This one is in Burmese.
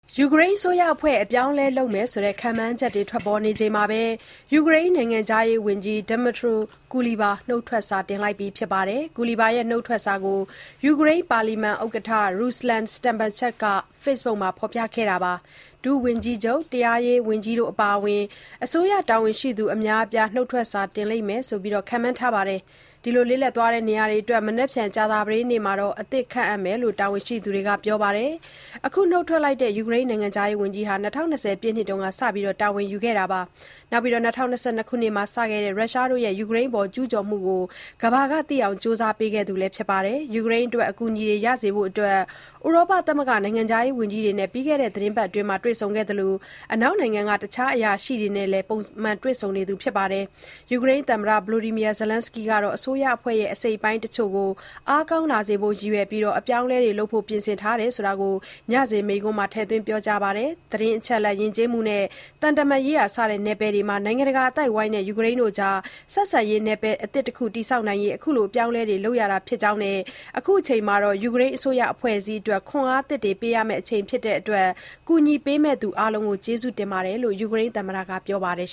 ယူကရိန်းအစိုးရအဖွဲ့ အပြောင်းအလဲလုပ်မယ့် ခန့်မှန်းချက်တွေ ထွက်ပေါ်နေချိန်မှာပဲ နိုင်ငံခြားရေးဝန်ကြီး Dmytro Kuleba က နုတ်ထွက်စာတင်လိုက်ပါတယ်။ Kuleba ရဲ့ နုတ်ထွက်စာကို ယူကရိန်း ပါလီမန်ဥက္ကဋ္ဌ Ruslan Stefanchuk က Facebook မှာ ဖော်ပြခဲ့တာပါ။ ဒုဝန်ကြီးချုပ်၊ တရားရေးဝန်ကြီးတို့ အပါအဝင် အစိုးရတာဝန်ရှိသူ အများအပြား နုတ်ထွက်စာ တင်လိမ့်မယ်လို့ ခန့်မှန်းထားပြီး လစ်လပ်သွားတဲ့နေရာတွေအတွက် မနက်ဖြန်ကြာသပတေးနေ့မှာ အသစ်ခန့်မယ်လို့လည်း တာဝန်ရှိသူတွေက ပြောပါတယ်။ အခုနုတ်ထွက်လိုက်တဲ့ ယူကရိန်းနိုင်ငံခြားရေးဝန်ကြီးဟာ ၂၀၂၀ ပြည့်နှစ်က စတာဝန်ယူခဲ့ပြီး ၂၀၂၂ ခုနှစ်မှာ စခဲ့တဲ့ ရုရှားရဲ့ကျူးကျော်မှုကို ကမ္ဘာကသိအောင် ကြိုးစားပေးခဲ့သူပါ။ ယူကရိန်းအတွက် အကူအညီတွေ ရရှိစေဖို့ ဥရောပသမဂ္ဂ နိုင်ငံခြားရေး ဝန်ကြီးတွေနဲ့ ပြီးခဲ့တဲ့ သီတင်းပတ်အတွင်းမှာ တွေ့ဆုံခဲ့သလို အနောက်နိုင်ငံက တခြားအရာရှိတွေနဲ့လည်း ပုံမှန်တွေ့ဆုံနေသူလည်း ဖြစ်ပါတယ်။ ယူကရိန်းသမ္မတ Volodymyr Zelenskyy ကတော့ အစိုးရအဖွဲ့ရဲ့ အစိတ်အပိုင်းအချို့ကို အားကောင်းလာစေဖို့ ရည်ရွယ်ပြီး အပြောင်းလဲတွေ လုပ်ဖို့ပြင်ဆင်ထားကြောင်း ညစဉ်မိန့်ခွန်းမှာ ထည့်သွင်းပြော ခဲ့ပါတယ်။ သတင်းအချက်အလက်၊ ယဉ်ကျေးမှုနဲ့ သံတမန်ရေးရာ စတဲ့ နယ်ပယ်တွေမှာ နိုင်ငံတကာ အသိုက်အဝန်းနဲ့ ယူကရိန်းတို့ ကြား ဆက်ဆံရေးနယ်ပယ် အသစ်တခု တည်ဆောက်နိုင်ဖို့အတွက် အခုလို အပြောင်းအလဲတွေ လုပ်ရတာ ဖြစ်ကြောင်းနဲ့ အခုအချိန်ဟာ ယူကရိန်းအစိုးရ အဖွဲ့အစည်းတွေကို ခွန်အားသစ်တွေ ပေးရမယ့် အချိန်ဖြစ်တဲ့အတွက် ကူညီပေးမယ့်သူအားလုံးကို ကျေးဇူးတင်ကြောင်းလည်း ယူကရိန်းသမ္မတက ပြောပါတယ်